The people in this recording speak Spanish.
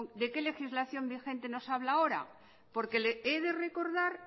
de qué legislación vigente nos habla ahora porque he de recordar